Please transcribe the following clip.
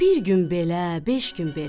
Bir gün belə, beş gün belə,